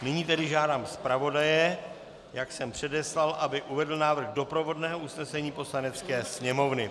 Nyní tedy žádám zpravodaje, jak jsem předeslal, aby uvedl návrh doprovodného usnesení Poslanecké sněmovny.